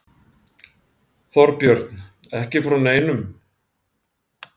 Þorbjörn: Ekki frá neinum?